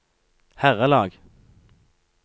herrelag